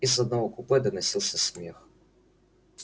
из одного купе доносился смех